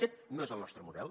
aquest no és el nostre model